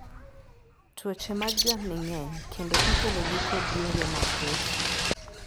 Tuoche mag jamni ng'eny kendo ikelogi kod yore mathoth.